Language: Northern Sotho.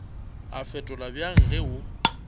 a fetola bjang ge o